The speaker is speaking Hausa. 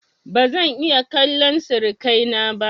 ba zan iya kallan sirikai na ba